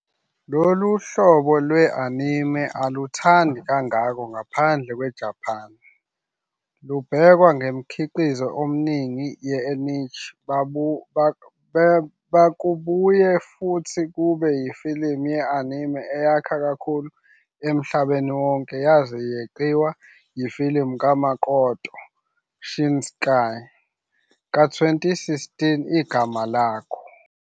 Lolu hlobo lwe-anime aluthandi kangako ngaphandle kweJapan, lubhekwa "njengomkhiqizo omningi we- niche ". Bekubuye futhi kube yifilimu ye-anime eyakha kakhulu emhlabeni wonke yaze yeqiwa yifilimu kaMakoto Shinkai ka-2016 "Igama Lakho".